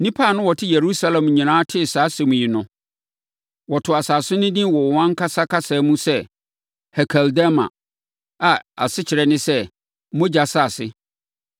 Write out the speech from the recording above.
Nnipa a na wɔte Yerusalem nyinaa tee saa asɛm yi no, wɔtoo asase no din wɔ wɔn ankasa kasa mu sɛ Hekeldama a asekyerɛ ne sɛ, Mogya Asase.)